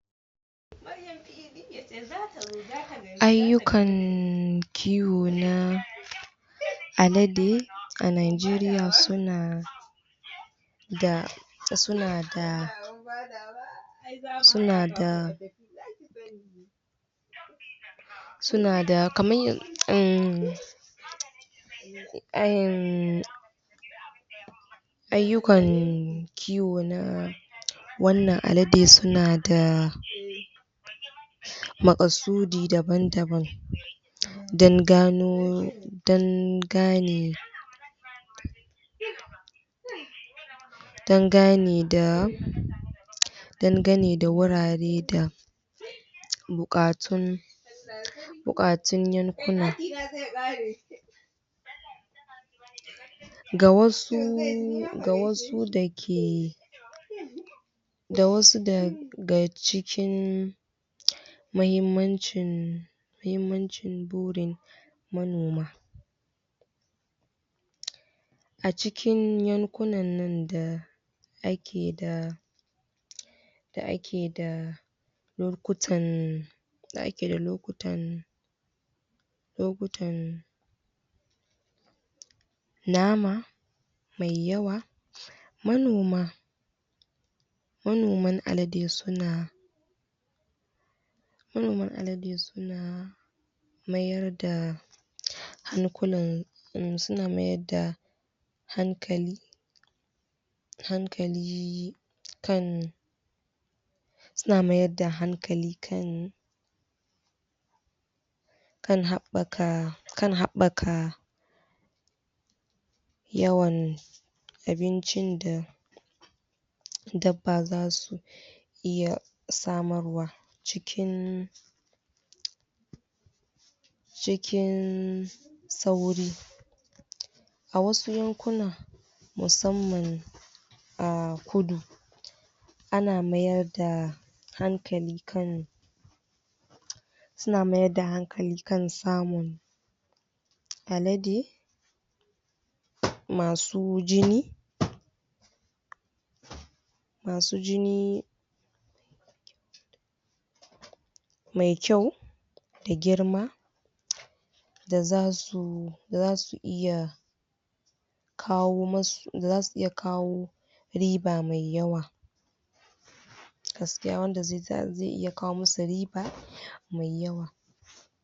ayyukan kiwo na alade a nigeria suna da da sunada sunada sunada kaman um ayyukan kiwo na wannnan alade sunada Maƙasudi daban daban dan gano dan gane dangane da dangane da wurare da buƙatun buƙatun yankuna ga wasu ga wasu da ke da wasu daga cikin muhimmanci muhinmancin burin manoma acikin yankuna nan da ake da da ake da lokutan da ake da loktan lokutan nama mai yawa manoma manoman alade sunada manoman alade suna mayar da hankulan suna mayarda hankali hankali kan suna mayarda hankali kan kan haɓaka kan habaka yawan abincin da dabba za su iya samarwa cikin cikin sauri a wasu yankuna musanman a kudu ana mayarda hankali kan suna mayarda hankali kan samun alade masu jini masu jini mai kyau da girma da za su iya da za su zasu iya kawo masu da zasu iya riba mai yauwa gaskiya wanda zai iya kawo musu riba mai yawa